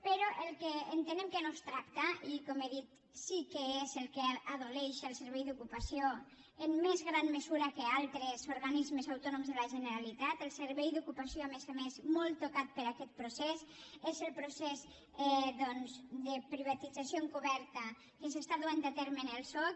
però el que entenem que no es tracta i com he dit sí que és del que pateix el servei d’ocupació en més gran mesura que altres organismes autònoms de la generalitat el servei d’ocupació a més a més molt tocat per aquest procés és el procés doncs de privatització encoberta que s’està duent a terme en el soc